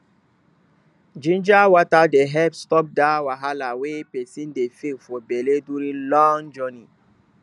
ginger water dey help stop dat wahala wey person dey feel for belle during long journey